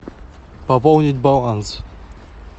пополнить баланс